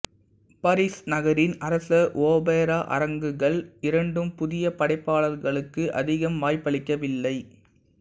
பரிஸ் நகரின் அரச ஒபெரா அரங்குகள் இரண்டும் புதிய படைப்பாளர்களுக்கு அதிகம் வாய்ப்பளிக்கவில்லை